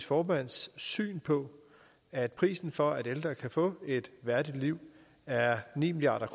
formands syn på at prisen for at ældre kan få et værdigt liv er ni milliard